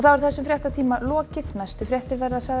þessum fréttatíma er lokið næstu fréttir verða